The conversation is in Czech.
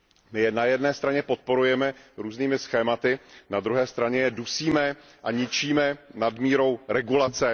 My je na jedné straně podporujeme různými schématy, na druhé straně je dusíme a ničíme nadmírou regulace.